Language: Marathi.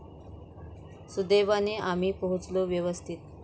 सुदैवाने आम्ही पोहोचलो व्यवस्थित.